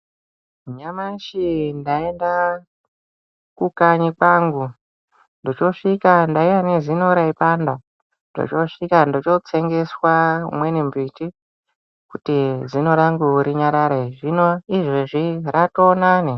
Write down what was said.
Nyamashi ndaenda kukanyi kwangu ndichosvika ndaiya nezino raipanda. Ndichiosvika ndichitsengeswa umweni mbiti kuti zino rangu rinyarare zvinoizvozvi ratonane.